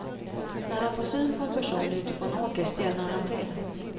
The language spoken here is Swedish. När han får syn på en person ute på en åker stelnar han till.